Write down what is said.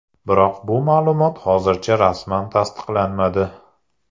Biroq bu ma’lumot hozircha rasman tasdiqlanmadi.